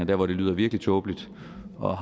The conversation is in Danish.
hvor det lyder virkelig tåbeligt og